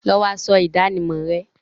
Lọ wọ aṣọ ìdánimọ̀ rẹ!